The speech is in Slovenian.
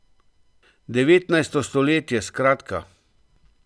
Devetnajsto stoletje, skratka!